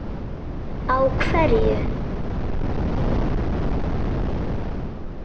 Á hverju?